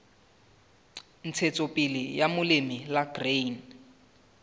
ntshetsopele ya molemi la grain